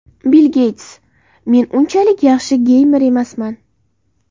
Bill Geyts: Men unchalik yaxshi geymer emasman.